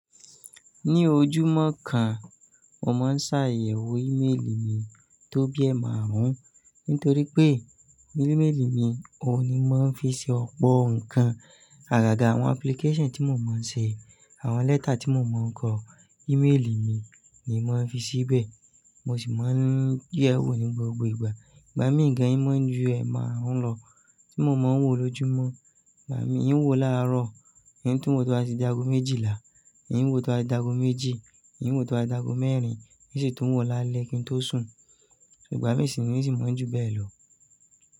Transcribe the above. Ní ojúmọ́ kan, mo máa ń ṣàyẹ̀wò e-mail mi tó bi ẹ́ márùn-ún, nítorí pé ní e-mail mi, òun ni mo ń fi ṣe ọ̀pọ̀ nǹkan. Àgàgà àwọn application tí mo máa ń ṣe, àwọn lẹ́tà tí mo máa ń kọ, e-mail mi ni mo máa ń fi síbẹ̀. Mo sì máa ń dẹ̀ e wò ní gbogbo ìgbà. Ìgbà mí ì gán, í mọ́ ju ẹ́ márùn-ún lọ tí mo máa ń wò lójúmọ́. Ìgbà mí í wò láàárọ̀, ì ń tún wò tí a sì dagomèjìlá, ì ń wò tí a dagomèjì, ì ń wò tí a dagomẹ́rin, nísìtú wò lálẹ́ kí n tó sùn. Ìgbà mí sì ni sì mọ́ ju bẹ́ẹ̀ lọ.